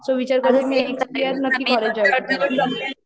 so विचार करते next year नक्की कॉलेज जॉईन करायचं ते